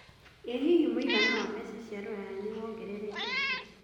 ĩ hihi mũigana wa mbeca cia rũraya nĩwongerekete